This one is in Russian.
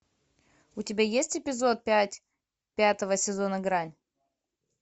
у тебя есть эпизод пять пятого сезона грань